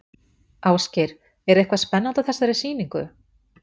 Ásgeir, er eitthvað spennandi á þessari sýningu?